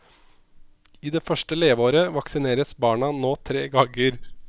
I det første leveåret vaksineres barna nå tre ganger.